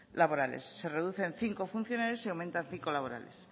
laborales se reduce en cinco funcionarios y aumentan cinco laborales